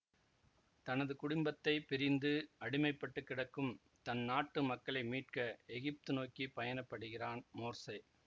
தனது குடும்பத்தை பிரிந்து அடிமைப்பட்டு கிடக்கும் தன் நாட்டு மக்களை மீட்க எகிப்து நோக்கி பயணப்படுகிறான் மோர்சே